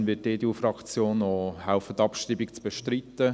Deshalb wird die EDU-Fraktion helfen, die Abschreibung zu bestreiten.